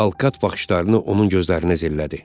Alkat baxışlarını onun gözlərinə zillədi.